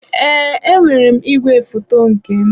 Ee, enwere m igwefoto nke m.